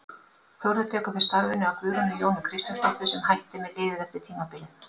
Þórður tekur við starfinu af Guðrúnu Jónu Kristjánsdóttur sem hætti með liðið eftir tímabilið.